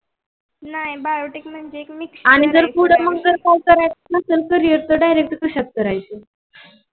नाही biotic म्हणजे.